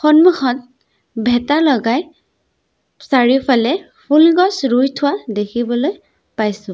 সন্মুখত ভেটা লগাই চাৰিওফালে ফুলগছ ৰুই থোৱা দেখিবলৈ পাইছোঁ।